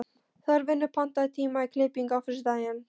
Þorfinnur, pantaðu tíma í klippingu á föstudaginn.